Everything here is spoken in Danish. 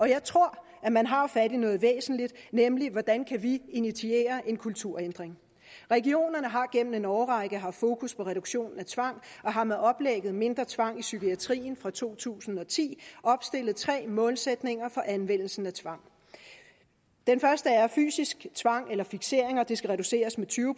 jeg tror at man har fat i noget væsentligt nemlig hvordan kan vi initiere en kulturændring regionerne har igennem en årrække haft fokus på reduktion af tvang og har med oplægget mindre tvang i psykiatrien fra to tusind og ti opstillet tre målsætninger for anvendelsen af tvang fysisk tvang eller fikseringer skal reduceres med tyve